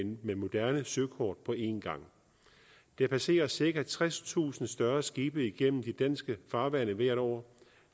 med moderne søkort på én gang der passerer cirka tredstusind større skibe igennem de danske farvande hvert år